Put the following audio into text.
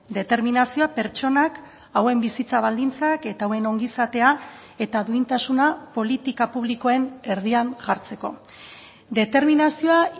determinazioa pertsonak hauen bizitza baldintzak eta hauen ongizatea eta duintasuna politika publikoen erdian jartzeko determinazioa